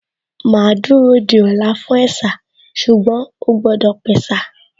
Màá dúró di ọ̀la fún ẹ̀sà ṣùgbọ́n ó gbọ́dọ̀ pẹ̀sà